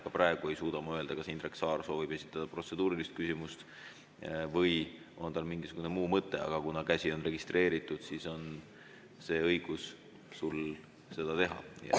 Ka praegu ei suuda ma öelda, kas Indrek Saar soovib esitada protseduurilist küsimust või on tal mingisugune muu mõte, aga kuna on registreeritud, siis on sul õigus seda teha.